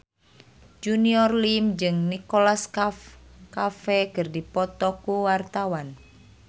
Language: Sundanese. Junior Liem jeung Nicholas Cafe keur dipoto ku wartawan